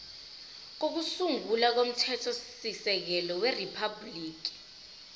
kokusungula komthethosisekelo weriphabhuliki